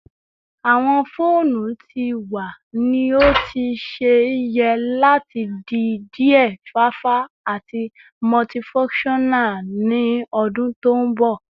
Awọn foonu ti wa ni o ti ṣe yẹ lati di diẹ fafa ati multifunctional ni odun to nbo